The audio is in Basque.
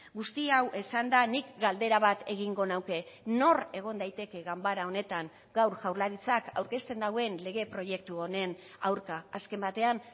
guzti hau esanda nik galdera bat egingo nuke nor egon daiteke ganbara honetan gaur jaurlaritzak aurkezten duen lege proiektu honen aurka azken batean